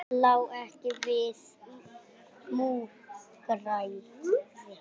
Það lá ekki við múgræði